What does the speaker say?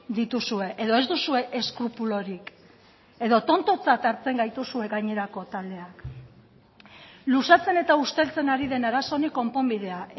dituzue edo ez duzue eskrupulorik edo tontotzat hartzen gaituzue gainerako taldeak luzatzen eta usteltzen ari den arazo honi konponbidea